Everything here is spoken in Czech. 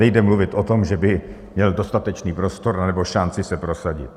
Nejde mluvit o tom, že by měl dostatečný prostor nebo šanci se prosadit.